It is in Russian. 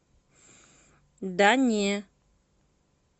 да не